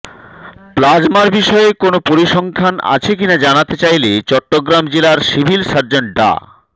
প্লাজমার বিষয়ে কোনো পরিসংখ্যান আছে কিনা জানাতে চাইলে চট্টগ্রাম জেলার সিভিল সার্জন ডা